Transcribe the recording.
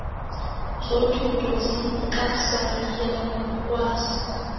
zothuthu zenkasayiya ngokwazi